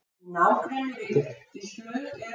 Í nágrenni við Grettislaug eru